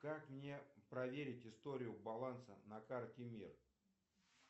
как мне проверить историю баланса на карте мир